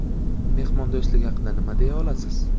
Mehmondo‘stlik haqida nima deya olasiz?